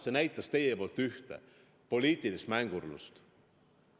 See näitas teie poolt ühte: poliitilist mängurlust.